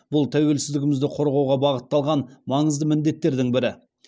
бұл тәуелсіздігімізді қорғауға бағытталған маңызды міндеттердің бірі